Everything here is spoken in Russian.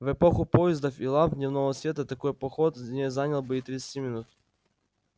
в эпоху поездов и ламп дневного света такой поход не занял бы и тридцати минут